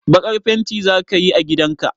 Baƙar fenti za ka yi a gidan ka?